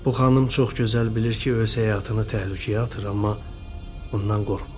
Bu xanım çox gözəl bilir ki, öz həyatını təhlükəyə atır, amma bundan qorxmur.